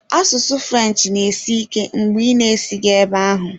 Asụsụ French na-esi ike mgbe ị na-esighị ebe ahụ.